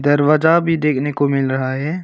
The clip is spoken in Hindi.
दरवाजा भी देखने को मिल रहा है।